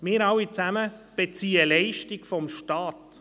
Wir alle beziehen Leistungen vom Staat.